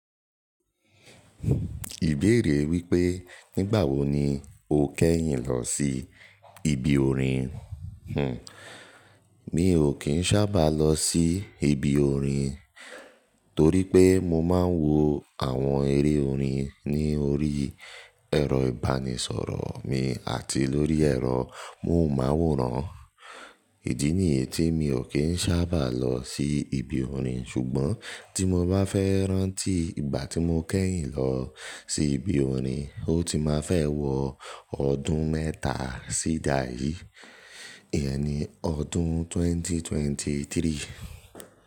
Ìbéèrè wípé nígbà wo ni o kẹ́yìn lọ sí ibi orin? Hhm. Mi ò kí n sábà lọ sí ibi orin, torí pé mo máa ń wo àwọn eré orin ní orí ẹ̀rọ-ìbánisọ̀rọ̀ mi àti lórí ẹ̀rọ móhùnmáwòrán. Idi niyi ti mi ò kí n sábà lọ sí ibi orin. Ṣùgbọ́n tí mo bá fẹ́ rántí ìgbà tí mo kẹ́yìn lọ sí ibi orin, ó ti máa fẹ́ wọ ọdún mẹ́ta sí ìdáyí, ẹni ọdún 2023.